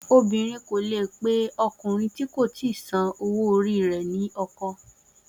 Obìnrin kò leè pe ọkùnrin tí kò ti san owó orí rẹ ni ọkọ